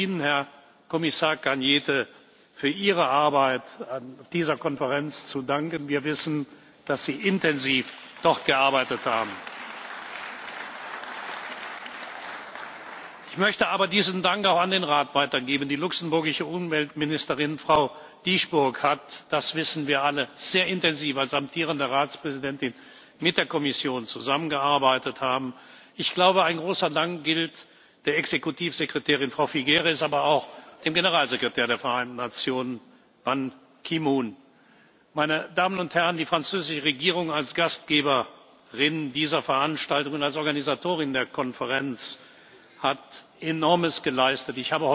Die Europäische Union muss dieses Abkommen nach innen und nach außen umsetzen und die aus dem Abkommen erwachsenen Verpflichtungen auch tatsächlich einhalten. Ich möchte im Namen des Europäischen Parlaments all denjenigen danken, die jahrelang für einen Erfolg der Pariser Konferenz gearbeitet haben. Ich möchte die Gelegenheit nutzen, an diesem Tag hier im Hause Ihnen, Herr Kommissar Arias Cañete, für Ihre Arbeit an dieser Konferenz zu danken. Wir wissen, dass Sie dort intensiv gearbeitet haben! Ich möchte aber diesen Dank auch an den Rat weitergeben. Die luxemburgische Umweltministerin, Frau Dieschbourg, hat das wissen wir alle sehr intensiv als amtierende Ratspräsidentin mit der Kommission zusammengearbeitet. Ich glaube, ein großer Dank gilt der Exekutivsekretärin, Frau Figueres, aber auch dem Generalsekretär der Vereinten Nationen, Herrn Ban Ki moon. Meine Damen und Herren, die französische Regierung als Gastgeberin dieser Veranstaltungen und als Organisatorin der Konferenz, hat Enormes